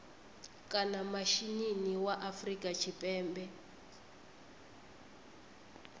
kana mishinini wa afrika tshipembe